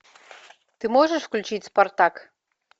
ты можешь включить спартак